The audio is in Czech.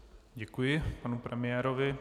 Děkuji panu premiérovi.